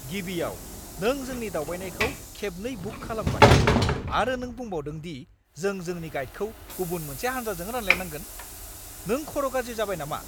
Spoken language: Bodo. गिबियाव, नों जोंनि दावबायनायखौ खेबनै बुक खालामबाय आरो नों बुंबावदों दि जों जोंनि गाइडखौ गुबुन मोनसे हानजाजों रानलायनांगोन। नों खर' गाज्रि जाबाय नामा?